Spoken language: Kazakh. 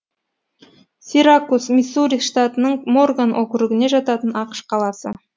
сиракус миссури штатының морган округіне жататын ақш қаласы